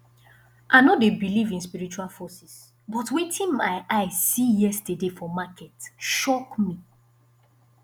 i no dey believe in spiritual forces but wetin my eye see yesterday for market shock me